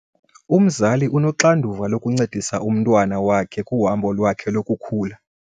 Umzali unoxanduva lokuncedisa umntwana wakhe kuhambo lwakhe lokukhula.